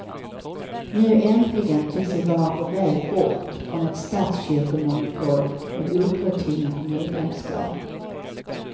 Nu äntligen tycks vi vara på väg bort från ett statskyrkomonopol med opåtvingat medlemskap.